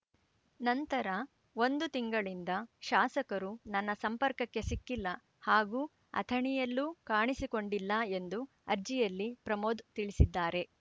ನಂತರ ಒಂದು ತಿಂಗಳಿಂದ ಶಾಸಕರು ನನ್ನ ಸಂಪರ್ಕಕ್ಕೆ ಸಿಕ್ಕಿಲ್ಲ ಹಾಗೂ ಅಥಣಿಯಲ್ಲೂ ಕಾಣಿಸಿಕೊಂಡಿಲ್ಲ ಎಂದು ಅರ್ಜಿಯಲ್ಲಿ ಪ್ರಮೋದ್‌ ತಿಳಿಸಿದ್ದಾರೆ